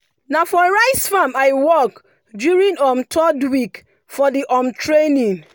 na for rice farm i work during um third week for the um training.